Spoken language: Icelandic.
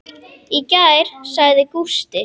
Í gær, sagði Gústi.